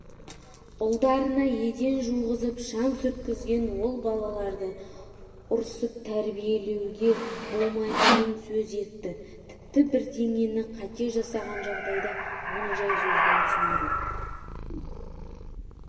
ұлдарына еден жуғызып шаң сүрткізген ол балаларды ұрсып тәрбиелеуге болмайтынын сөз етті тіпті бірдеңені қате жасаған жағдайда оны жай сөзбен түсіндіру